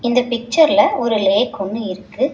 இந்த பிக்சர்ல ஒரு லேக் ஒன்னு இருக்கு.